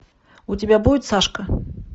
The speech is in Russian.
у тебя будет сашка